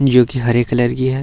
जो की हरे कलर की है।